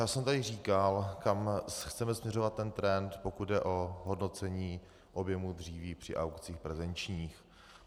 Já jsem tady říkal, kam chceme směřovat ten trend, pokud jde o hodnocení objemu dříví při aukcích prezenčních.